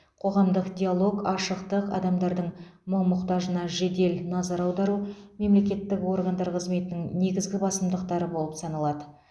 қоғамдық диалог ашықтық адамдардың мұң мұқтажына жедел назар аудару мемлекеттік органдар қызметінің негізгі басымдықтары болып саналады